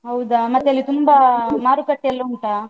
ಹೌದಾ? ಮತ್ತೆ ಅಲ್ಲಿ ತುಂಬ ಮಾರುಕಟ್ಟೆ ಎಲ್ಲ ಉಂಟಾ?